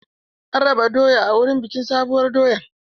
An raba doya a wurin bikin sabuwar doya.